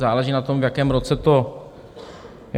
Záleží na tom, v jakém roce to bylo.